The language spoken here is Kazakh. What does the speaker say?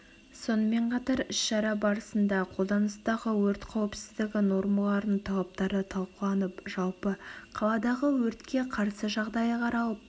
сонымен қатар іс-шара барысында қолданыстағы өрт қауіпсіздігі нормаларының талаптары талқыланып жалпы қаладағы өртке қарсы жағдайы қаралып